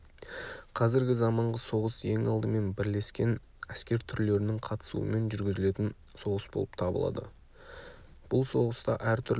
қазіргі заманғы соғыс ең алдымен бірлескен әскер түрлерінің қатысуымен жүргізілетін соғыс болып табылады бұл соғыста әртүрлі